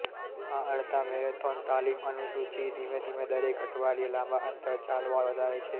આ અડધા મેરેથોન તાલીમ અનુસૂચિ ધીમે ધીમે દરેક અઠવાડિયે લાંબા અંતર ચાલવા વધારે છે